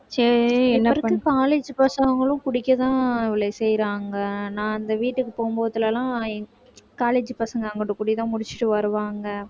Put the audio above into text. இப்ப இருக்க college பசங்களும் குடிக்கத்தான் இவளே செய்யறாங்க நான் அந்த வீட்டுக்கு போகும்போதெல்லாம் college பசங்க அங்கிட்டு குடிதான் முடிச்சுட்டு வருவாங்க